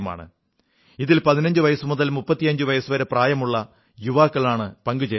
ഇതിൽ 15 വയസ്സുമുതൽ 35 വയസ്സുവരെ പ്രായമുള്ള യുവാക്കളാണ് പങ്കുചേരുന്നത്